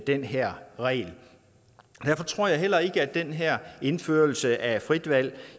den her regel derfor tror jeg heller ikke at den her indførelse af frit valg